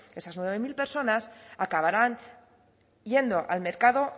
esas nueve mil personas acabarán yendo al mercado